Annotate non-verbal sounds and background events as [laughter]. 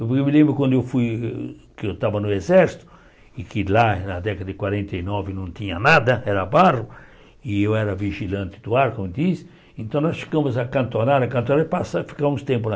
Eu me lembro quando eu fui, que eu estava no exército, e que lá na década de quarenta e nove não tinha nada, era barro, e eu era vigilante do ar, como diz, então nós ficamos, [unintelligible] e passa ficamos tempo lá.